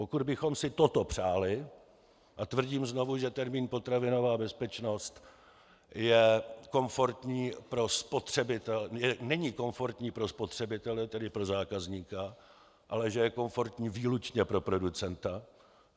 Pokud bychom si toto přáli - a tvrdím znovu, že termín potravinová bezpečnost není komfortní pro spotřebitele, tedy pro zákazníka, ale že je komfortní výlučně pro producenta.